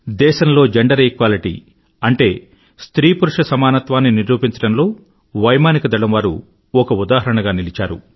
దేశంలో gender equality అంటే స్త్రీ పురుష సమానత్వాన్ని నిరూపించడంలో వైమానికదళం వారు ఒక ఉదాహరణగా నిలిచారు